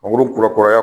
Mangoro kurakuraya